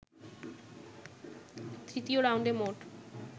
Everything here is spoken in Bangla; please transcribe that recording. তৃতীয় রাউন্ডে মোট